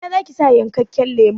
A ina zaki sa yankakken lemon?